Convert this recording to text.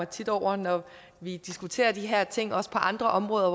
tit over når vi diskuterer de her ting også på andre områder at